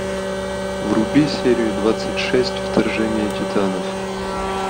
вруби серию двадцать шесть вторжение титанов